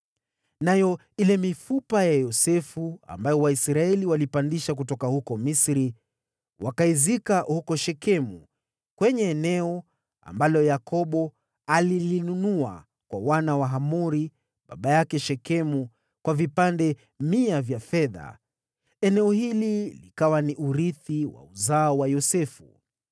Nayo ile mifupa ya Yosefu, ambayo Waisraeli waliipandisha kutoka huko Misri, wakaizika huko Shekemu kwenye eneo, ambalo Yakobo alilinunua kwa wana wa Hamori baba yake Shekemu, kwa vipande mia vya fedha. Eneo hili likawa ni urithi wa uzao wa Yosefu.